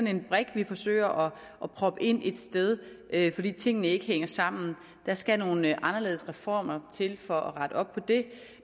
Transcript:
en brik vi forsøger at proppe ind et sted fordi tingene ikke hænger sammen der skal nogle anderledes reformer til for at rette op på det